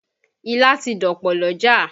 Ilá ti dọ̀pọ̀ lọ́jà